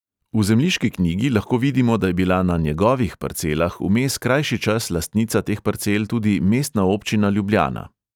V zemljiški knjigi lahko vidimo, da je bila na "njegovih" parcelah vmes krajši čas lastnica teh parcel tudi mestna občina ljubljana.